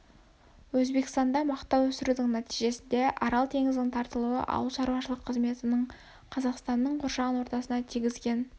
өзбекстанда мақта өсірудің нәтижесінде арал теңізінің тартылуы ауылшарушылық қызметінің қазақстанның қоршаған ортасына тигізген